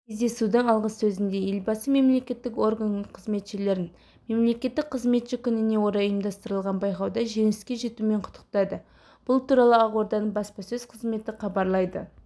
кездесудің алғысөзінде елбасы мемлекеттік орган қызметшілерін мемлекеттік қызметші күніне орай ұйымдастырылған байқауда жеңіске жетуімен құттықтады бұл туралы ақорданың баспасөз қызметі хабарлайды